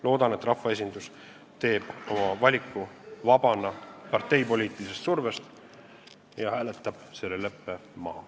Loodan, et rahvaesindus teeb oma valiku vabana parteipoliitilisest survest ja hääletab selle leppe maha.